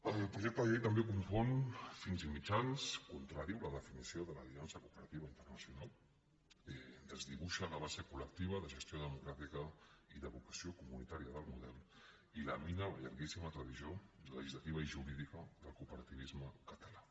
el projecte de llei també confon fins i mitjans contradiu la definició de l’aliança cooperativa internacional desdibuixa la base colcràtica i de vocació comunitària del model i lamina la llarguíssima tradició legislativa i jurídica del cooperativisme català